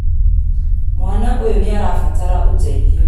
Mwana ũyũnĩarabatara ũteithio